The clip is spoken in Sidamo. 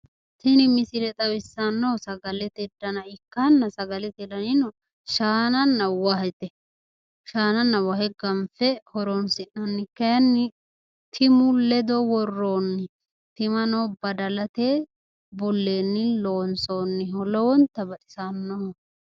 Tini misile xawissannohu sagalete dana ikkanna sagalate danino shaananna wahete. shaananna wahe ganfe horoonsi'nanni. Kayinni timu ledo worroonni. Timano badalate bulleenni loonsoonniho. Lowonta baxisannoho.